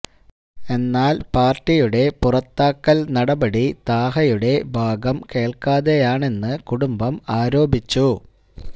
എന്നാല് പാര്ട്ടിയുടെ പുറത്താക്കല് നടപടി താഹയുടെ ഭാഗം കേള്ക്കാതെയാണെന്ന് കുടുംബം ആരോപിച്ചു